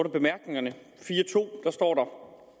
i bemærkningerne står